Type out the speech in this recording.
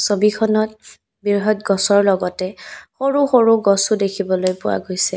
ছবিখনত বৃহৎ গছৰ লগতে সৰু সৰু গছো দেখিবলৈ পোৱা গৈছে।